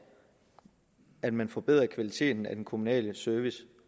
at man forbedrer kvaliteten af den kommunale service